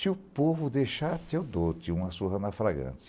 Se o povo deixar, eu dou-te uma surra na fragante.